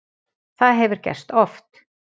Það hefur gerst oft.